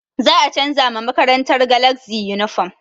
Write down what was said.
Za a canza ma makarantar galazi yunifom